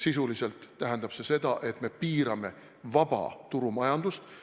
Sisuliselt tähendab see seda, et me piirame vaba turumajandust.